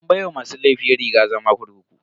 An baiwa masu laifin rigar zama kurkuku.